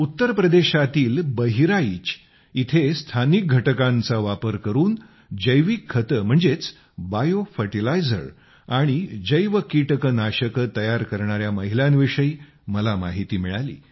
उत्तर प्रदेशातील बहराइच येथे स्थानिक घटकांचा वापर करून जैविक खाते बायोफर्टिलायझर आणि जैव कीटकनाशके तयार करणाऱ्या महिलांविषयी मला माहिती मिळाली